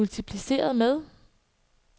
multipliceret med